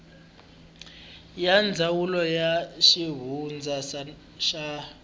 ya ndzawulo ya xivundza na